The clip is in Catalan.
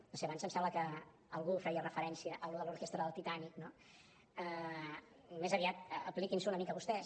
no ho sé abans em sembla que algú feia referència a l’orquestra del titanic no més aviat apliquin s’ho una mica vostès